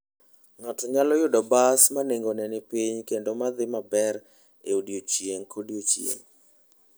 Ng'ato nyalo yudo bas ma nengone ni piny kendo ma dhi maber e odiechieng' kodiechieng'.